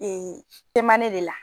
Ee ye tema ne de la